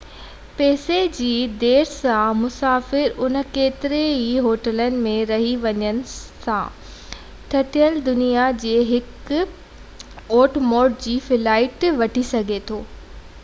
پئسي جي ڍير سان مسافر انهن ڪيترن ئي هوٽلن ۾ رهي وڃڻ سان ٽٽل دنيا جي هڪ اوٽ موٽ جي فلائيٽ وٺي سگهي ٿو